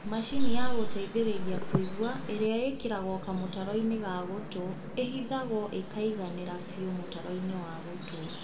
Macini ya gũteithĩrĩria kũigua ĩrĩa ĩkĩragwo kamũtaro-inĩ ga gũtũ ĩhithagwo ĩkaiganĩra biũ mũtaro-inĩ wa gũtũ